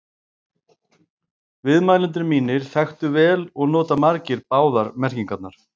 Viðmælendur mínir þekktu vel og nota margir báðar merkingarnar.